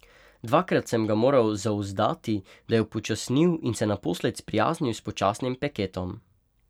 Dvakrat sem ga moral zauzdati, da je upočasnil in se naposled sprijaznil s počasnim peketom.